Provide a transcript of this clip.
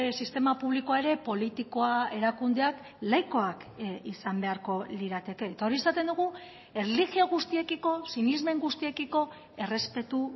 sistema publikoa ere politikoa erakundeak laikoak izan beharko lirateke eta hori esaten dugu erlijio guztiekiko sinesmen guztiekiko errespetu